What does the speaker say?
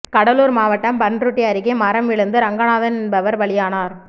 கடலூர் மாவட்டம் பண்ருட்டி அருகே மரம் விழுந்து ரங்கநாதன் என்பவர் பலியானார்